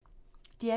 DR P2